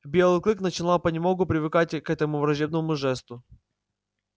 белый клык начинал понемногу привыкать к этому враждебному жесту